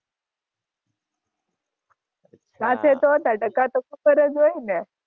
સાથે તો હતાં ટકા તો ખબર જ હોય ને.